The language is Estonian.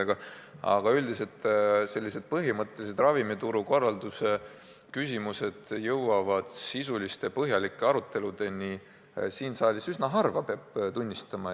Aga peab tunnistama, et üldiselt sellised põhimõttelised ravimituru korralduse küsimused jõuavad sisuliste põhjalike aruteludeni siin saalis üsna harva.